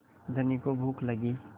धनी को भूख लगी